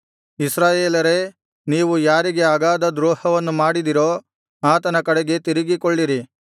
ಇಸ್ರಾಯೇಲರೇ ನೀವು ಯಾರಿಗೆ ಅಗಾಧ ದ್ರೋಹವನ್ನು ಮಾಡಿದಿರೋ ಆತನ ಕಡೆಗೆ ತಿರುಗಿಕೊಳ್ಳಿರಿ